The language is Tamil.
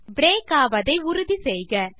பிரேக் ஆவதை உறுதி செய்க